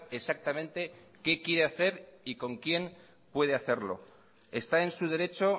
exactamente qué quiere hacer y con quién puede hacerlo está en su derecho